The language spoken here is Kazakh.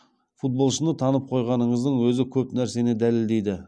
футболшыны танып қойғаныңыздың өзі көп нәрсені дәлелдейді